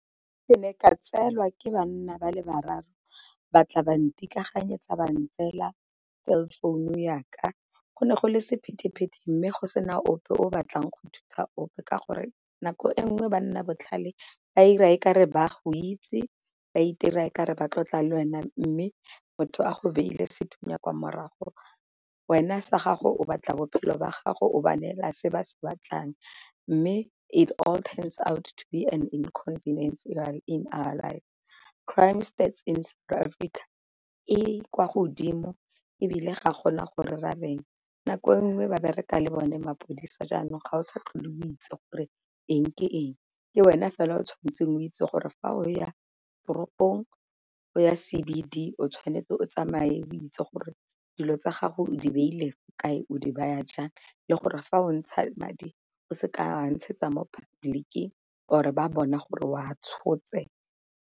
Ke ne ka tseelwa ke banna ba le bararo ba tla ba ntikaganyetsa ba ntseela cell phone yaka go ne go le sephete-phete, mme go sena ope o batlang go thusa ope ka gore nako e nngwe ba nna botlhale ba ira e ka re ba go itse ba itira e kare ba tlotla le wena mme motho a go beile sethunya kwa morago. Wena sa gago o batla bophelo ba gago o ba neela se ba se batlang, mme it all turns out to be an inconvinience in . Crime stats in South Africa e kwa godimo ebile ga gona gore ra reng. Nako nngwe ba bereka le bone mapodisa jaanong ga o sa tlhole o itse gore eng ke eng. Ke wena fela o tshwanetseng o itse gore fa o ya toropong, o ya C_B_D o tshwanetse o tsamaye o itse gore dilo tsa gago o di beile kae, o di baya jang, le gore fa o ntsha madi o se ka ntshetsa mo public or ba bona gore o a tshotse.